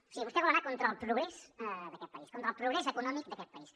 o sigui vostè vol anar contra el progrés d’aquest país contra el progrés econòmic d’aquest país